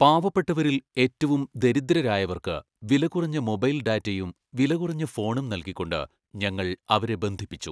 പാവപ്പെട്ടവരിൽ ഏറ്റവും ദരിദ്രരായവർക്ക് വിലകുറഞ്ഞ മൈബൈൽ ഡാറ്റയും വിലകുറഞ്ഞ ഫോണും നൽകിക്കൊണ്ട് ഞങ്ങൾ അവരെ ബന്ധിപ്പിച്ചു.